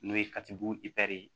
N'o ye katibugu